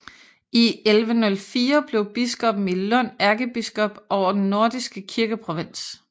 I 1104 blev biskoppen i Lund ærkebiskop over den nordiske kirkeprovins